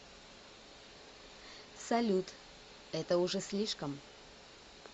салют это уже слишком